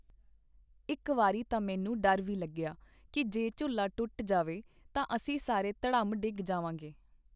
ਇੱਕ ਵਾਰੀ ਤਾਂ ਮੈਨੂੰ ਡਰ ਵੀ ਲੱਗਿਆ ਕੀ ਜੇ ਝੂਲਾ ਟੁੱਟ ਜਾਵੇ ਤਾਂ ਅਸੀਂ ਸਾਰੇ ਧੜਾਮ ਡਿੱਗ ਜਾਵਾਂਗੇ.